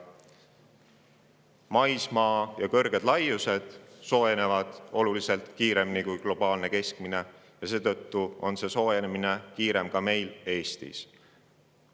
Maismaa ja kõrged laiused soojenevad globaalsest keskmisest oluliselt kiiremini, mistõttu on soojenemine ka meil Eestis kiirem.